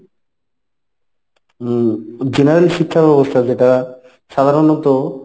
উম general শিক্ষাব্যবস্থা যেটা সাধারনত;